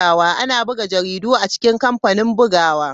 Ana buga jaridu a cikin kamfanin bugawa.